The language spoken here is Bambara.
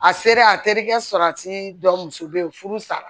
A sera a terikɛ salati dɔ muso be yen furu sara